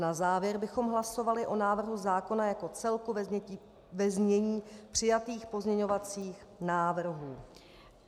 Na závěr bychom hlasovali o návrhu zákona jako celku ve znění přijatých pozměňovacích návrhů.